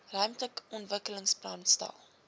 ruimtelike ontwikkelingsplan stel